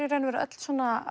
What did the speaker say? í raun og veru öll